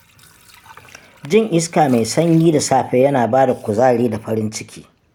Jin iska mai sanyi da safe yana ba da kuzari da farin ciki.